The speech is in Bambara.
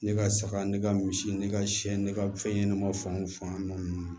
Ne ka saga ne ka misi ne ka siɲɛ ne ka fɛn ɲɛnɛma fan o fan nɔ ninnu